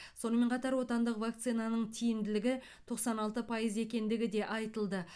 сонымен қатар отандық вакцинаның тиімділігі тоқсан алты пайыз екендігі де айтылды